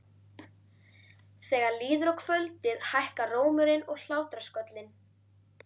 Þegar líður á kvöldið hækkar rómurinn og hlátrasköllin.